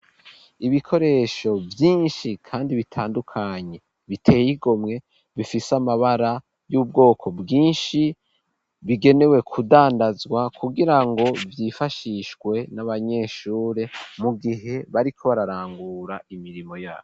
Ibikoresho vyishi kandi bitandukanye biteye igomwe bifise amabara y'ubwoko bwishi bikenewe kudandazwa kugira ngo vyifashishwe n'abanyeshure mu gihe bariko bararangura imirimo yayo.